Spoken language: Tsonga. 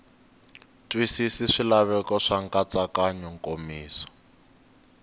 twisisi swilaveko swa nkatsakanyo nkomiso